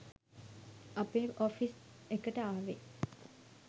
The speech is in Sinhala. අපේ ඔෆිස් එකට ආවෙ.